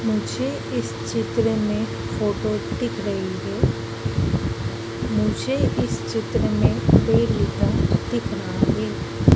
मुझे इस चित्र में फोटो दिख रही है मुझे इस चित्र में पेड़ दिख रहा है।